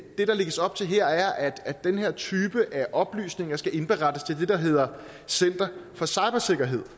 lægges op til her er at den her type af oplysninger skal indberettes til det der hedder center for cybersikkerhed